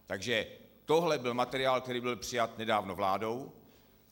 Takže tohle byl materiál, který byl přijat nedávno vládou.